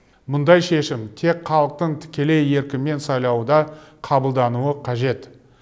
мұндай шешім тек халықтың тікелей еркімен сайлауда қабылдануы қажет